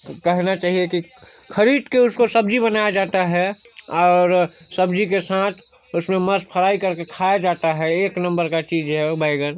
कहना चाहिए की खरीद के उसको सबजी बनाया हैं और सब्जी के साथ उसको मस्त फ्राइ करके खाया जाता हैं एक नंबर का चीज हैं बैंगन--